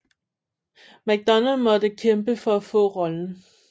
Macdonald måtte kæmpe for at få rollen